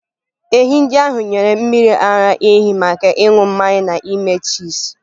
Ehi ndị ahụ nyere mmiri ara ehi maka ịṅụ mmanya na ime chiizi.